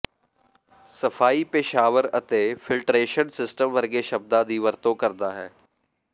ਸਫਾਈ ਪੇਸ਼ਾਵਰ ਅਤੇ ਫਿਲਟਰਰੇਸ਼ਨ ਸਿਸਟਮ ਵਰਗੇ ਸ਼ਬਦਾਂ ਦੀ ਵਰਤੋਂ ਕਰਦਾ ਹੈ